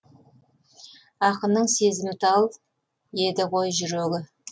ақынның сезімтал еді ғой жүрегі